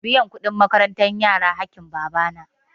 Biyan kuɗin makarantar yara haƙƙin baba na.